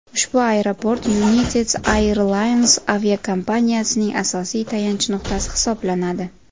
Ushbu aeroport United Airlines aviakompaniyasining asosiy tayanch nuqtasi hisoblanadi.